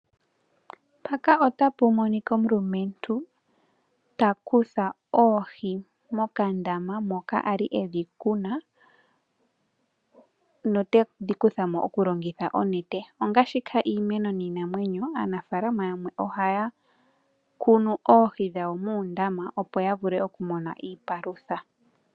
Omulumentu ta kutha oohi mokandama moka a li e dhi kuna ta longitha onete. Ongaashi iimeno niinamwenyo aanafalama yamwe ohaya kunu oohi dhawo muundama ya vule okumona iipalutha.